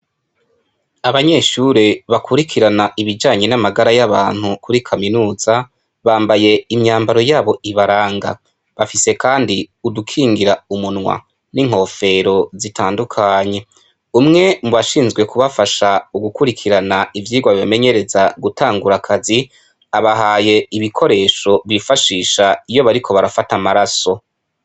Abanyeshure bakurikiran' ibijanye n' amagara y' abantu muri kaminuza bambaye imyambaro yabo ibaranga bafise kand' udukingir' umunwa n' inkofero zitandukanye, umwe mubashinzwe kubafasha gukurikiran' ivyigwa bibamenyereza gutangur' akaz' abahay' ibikoresho bifashish' iyo barigufat' amaraso.